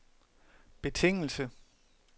betingelse